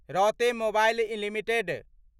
रौते mobile limited